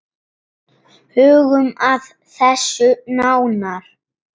Hugum að þessu nánar.